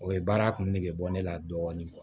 O ye baara kun nege bɔ ne la dɔɔnin